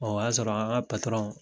Ɔ o y'a sɔrɔ an ka patɔrɔn